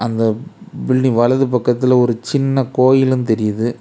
அந்த பில்டிங் வலது பக்கத்துல ஒரு சின்ன கோயிலும் தெரியுது.